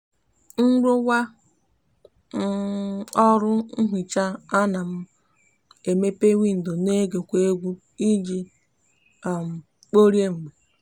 nruwa um oru nhicha a no m emepe windo n'ege kwa egwu iji um kporie mgbe